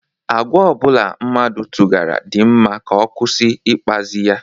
Agwa obula mmadu toghara di mma ka o kwusi ikpazi ya.